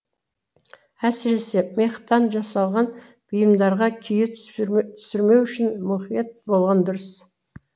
әсіресе мехтан жасалған бұйымдарға күйе түсірмеу үшін мұқият болған дұрыс